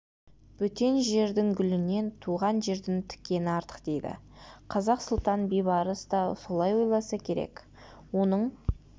бөтен жердің гүлінен туған жердің тікені артық дейді қазақ сұлтан бейбарыс та солай ойласа керек оның